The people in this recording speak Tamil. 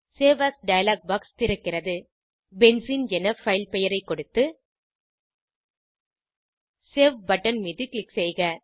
சேவ் ஏஎஸ் டயலாக் பாக்ஸ் திறக்கிறது பென்சீன் என பைல் பெயரை கொடுத்து சேவ் பட்டன் மீது க்ளிக் செய்க